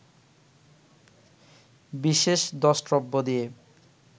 বিশেষ দ্রষ্টব্য দিয়ে